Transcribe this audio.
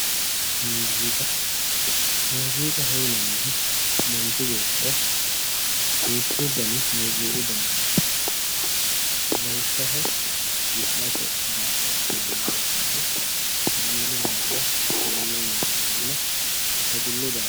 Muuziiqa Muuziiqaho yinannihu manchi beettira duuchu dani muziiqu dani heeranno llawishshaho wi'late daafira hagiirru daafiranna dadillu daafira